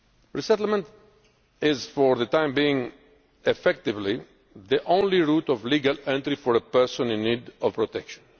the Council. Resettlement is for the time being effectively the only route of legal entry for a person in need of